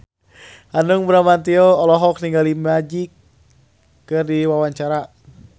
Hanung Bramantyo olohok ningali Magic keur diwawancara